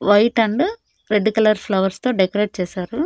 White and red colour flowers తో decorate చేశారు.